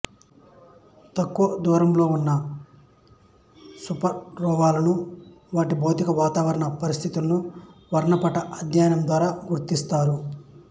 తక్కువ దూరంలో ఉన్న సూపర్నోవాలను వాటి భౌతిక వాతావరణ పరిస్థితులను వర్ణపట అధ్యయనం ద్వారా గుర్తిస్తారు